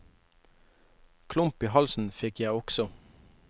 Klump i halsen fikk jeg også.